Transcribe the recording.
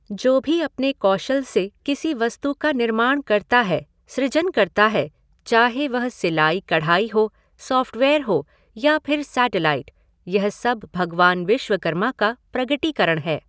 जो भी अपने कौशल से किसी वस्तु का निर्माण करता हैं, सृजन करता है, चाहे वह सिलाई कढ़ाई हो, सॉफ़्टवेयर हो या फिर सेटलाइट, यह सब भगवान विश्वकर्मा का प्रगटीकरण है।